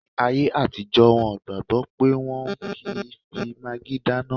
Ní ayé àtijọ́, wọn gbàgbọ̀ pé wọ́n ò kí n fi magí dáná